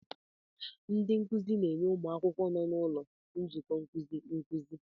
Ndị nkuzi na-enye ụmụ akwụkwọ nọ n'ụlọ nzukọ nkuzi nkuzi.